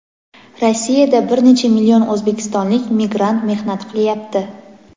Rossiyada bir necha million o‘zbekistonlik migrant mehnat qilyapti.